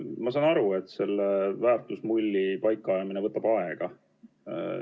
Ma saan aru, et selle väärtusmulli paika ajamine võtab aega.